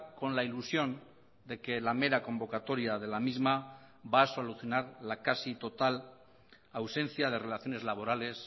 con la ilusión de que la mera convocatoria de la misma va a solucionar la casi total ausencia de relaciones laborales